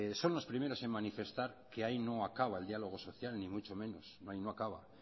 son los primeros en manifestar que ahí no acaba el diálogo social ni mucho menos ahí no acaba